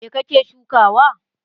Me ka ke shukawa?